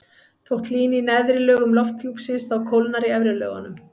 þótt hlýni í neðri lögum lofthjúpsins þá kólnar í efri lögunum